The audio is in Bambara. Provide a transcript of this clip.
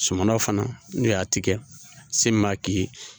Suman fana n'o y'a tigɛ sen min b'a k'i ye